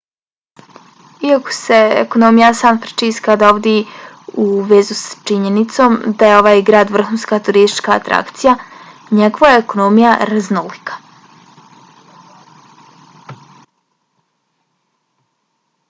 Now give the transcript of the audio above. iako se ekonomija san francisca dovodi u vezu s činjenicom da je ovaj grad vrhunska turistička atrakcija njegova je ekonomija raznolika